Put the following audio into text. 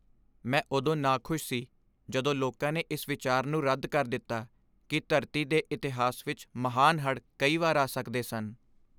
ਮੈਂ ਉਦੋਂ ਨਾਖੁਸ਼ ਸੀ ਜਦੋਂ ਲੋਕਾਂ ਨੇ ਇਸ ਵਿਚਾਰ ਨੂੰ ਰੱਦ ਕਰ ਦਿੱਤਾ ਕਿ ਧਰਤੀ ਦੇ ਇਤਿਹਾਸ ਵਿੱਚ ਮਹਾਨ ਹੜ੍ਹ ਕਈ ਵਾਰ ਆ ਸਕਦੇ ਸਨ।